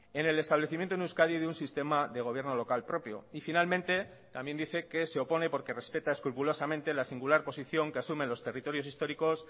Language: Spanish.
en el establecimiento en euskadi de un sistema de gobierno local propio y finalmente también dice que se opone porque respeta escrupulosamente la singular posición que asumen los territorios históricos